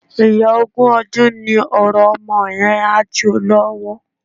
Iyán ogún ọdún ni ọ̀rọ̀ ọmọ yẹn, á jo lọ́wọ́.